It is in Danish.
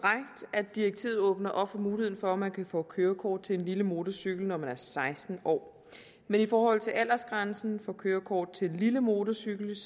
at direktivet åbner op for muligheden for at man kan få kørekort til en lille motorcykel når man er seksten år men i forhold til aldersgrænsen for kørekort til lille motorcykel